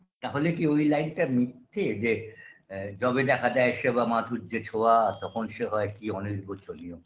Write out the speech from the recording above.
তাহলে কি ওই লাইনটা মিথ্যে যে যবে দেখা দেয় সেবা মাধুর্যে ছোঁয়া তখন সে হয় কি অনির্ব চলি ও